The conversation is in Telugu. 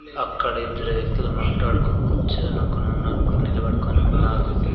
అక్కడ ఇద్దరు వ్యక్తులు మాట్లాడుకొని కూర్చొని ఒకని ఉన్నారు ఒకరు నిలబడుకొని ఉన్నారు.